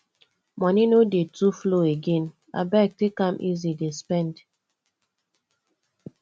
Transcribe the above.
moni no dey too flow again abeg take am easy dey spend